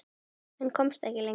En komst ekki lengra.